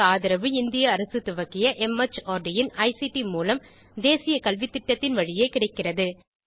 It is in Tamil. இதற்கு ஆதரவு இந்திய அரசு துவக்கிய மார்ட் இன் ஐசிடி மூலம் தேசிய கல்வித்திட்டத்தின் வழியே கிடைக்கிறது